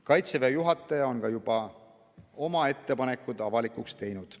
Kaitseväe juhataja on juba oma ettepanekud avalikuks teinud.